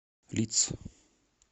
лидс